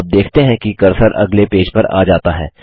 आप देखते हैं कि कर्सर अगले पेज पर आ जाता है